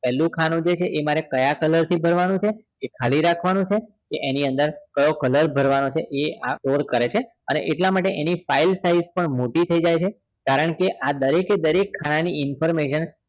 પેલું ખાનું છે એ મારે કયા color ભરવાનું છે કે ખાલી રાખવાનું છે કે એની અંદર કયો color ભરવાનો છે એ આ કોણ કરે છે એટલા માટે એની file size પણ મોટી થઇ જાય છે કારણ કે આ દરેકે દરેક ખાના ની information